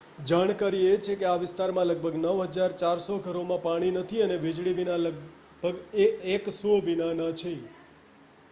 જાણકારી એ છે કે આ વિસ્તારમાં લગભગ 9400 ઘરોમાં પાણી નથી અને વીજળી વિના લગભગ 100 વિનાનાં છે